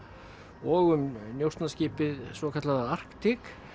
og um svokallaða Arctic